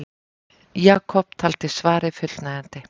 Jakob taldi svarið fullnægjandi.